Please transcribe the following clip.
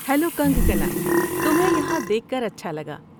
Hello Kangkana, تمہیں یہاں دیکھ کر اچھا لگا۔